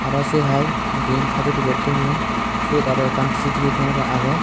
arow se hai dien sattipiket toyon sot arow ekkan sitibi kemera agey.